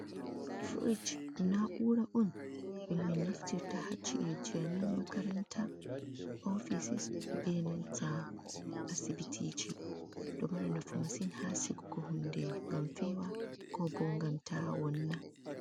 Fridge na ura’un ɗum min naftirta ha ci’e ji amin makaranta offices be nanta asbiti ɗo mari nafu masin ha sigugo hunde ngam ta fewa ko bo ngam ta wonna.